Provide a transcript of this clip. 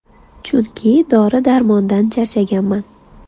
Chunki dori-darmondan charchaganman”.